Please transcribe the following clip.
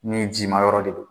Ni ji ma yɔrɔ de don